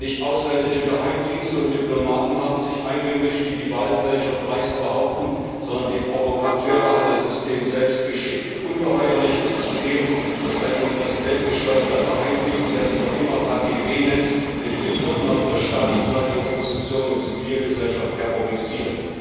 Nicht ausländische Geheimdienste und Diplomaten haben sich eingemischt, wie die Wahlfälscher dreist behaupten, sondern die Provokateure hat das System selbst geschickt. Ungeheuerlich ist zudem, dass ein vom Präsidenten gesteuerter Geheimdienst, der sich noch immer KGB nennt, mit Methoden aus der Stalinzeit die Opposition und die Zivilgesellschaft terrorisiert.